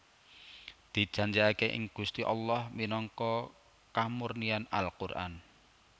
Dijanjikake ing Gusti Allah minangka kamurnian Al Quran